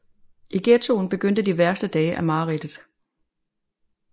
I ghettoen begyndte de værste dage af mareridtet